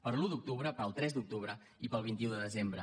per l’un d’octubre pel tres d’octubre i pel vint un de desembre